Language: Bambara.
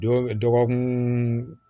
Dɔgɔkun